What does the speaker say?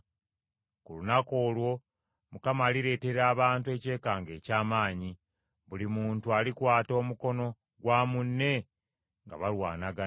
Ku lunaku olwo Mukama alireetera abantu ekyekango eky’amaanyi. Buli muntu alikwata omukono gwa munne nga balwanagana.